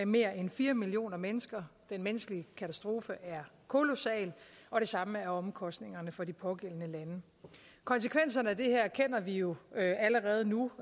mere end fire millioner mennesker den menneskelige katastrofe er kolossal og det samme er omkostningerne for de pågældende lande konsekvenserne af det her erkender vi jo allerede nu